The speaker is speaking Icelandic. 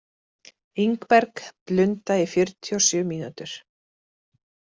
Ingberg, blunda í fjörutíu og sjö mínútur.